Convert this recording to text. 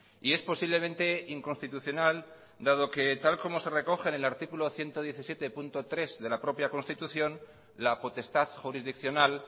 y es posiblemente inconstitucional dado que tal como se recoge en el artículo ciento diecisiete punto tres de la propia constitución la potestad jurisdiccional